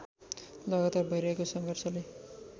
लगातार भैरहेको सङ्घर्षले